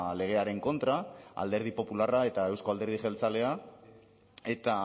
legearen kontra alderdi popularra eta euzko alderdi jeltzalea eta